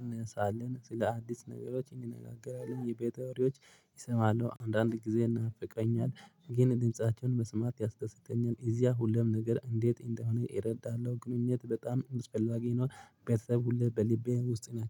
እንሰራለን ስለ አዲስ ነገሮች እንነጋገራለን የቤት ወሬዎች እሰማለሁ አንዳንድ ጊዜ ኢናፍቀኛል። ግን ድምፃቸውን መስማት ያስደስተኛል ኢዚያ ሁሉም ነገር ኢንዴት እንደሆነ ኢረዳለሁ ግንኙነት በጣም አስፈላጊ ነው። ቤተሰብ ሁሌ በልቤ ውስጥ ነው